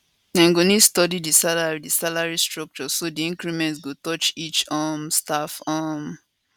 dem go need study di salary di salary structure so di increment go touch each um staff um